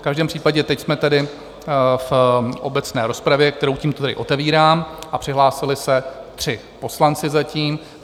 V každém případě teď jsme tedy v obecné rozpravě, kterou tímto tedy otevírám, a přihlásili se tři poslanci zatím.